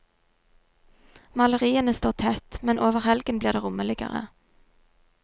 Maleriene står tett, men over helgen blir det rommeligere.